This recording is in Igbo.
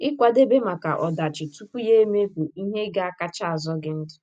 Ịkwadebe maka ọdachi tupu ya emee bụ ihe ga - akacha azọ gị ndụ